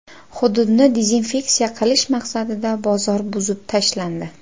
Hududni dezinfeksiya qilish maqsadida bozor buzib tashlandi.